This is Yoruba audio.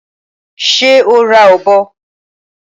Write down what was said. Ṣé o ra ọ̀bọ?